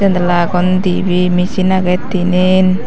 janala agon dibey michin agey tinen.